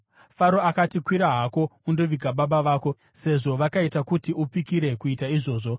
Faro akati, “Kwira hako undoviga baba vako, sezvo vakaita kuti upikire kuita izvozvo.”